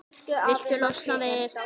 Viltu losna við-?